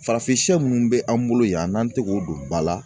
Farafin sɛ minnu bɛ an bolo yan n'an tɛ k'o don ba la